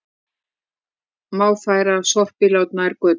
Má færa sorpílát nær götu